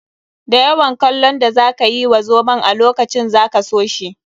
Da yawan kallon da za ka yi wa zomon a lokacin za ka so shi.